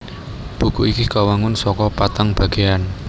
Buku iki kawangun saka patang bagéan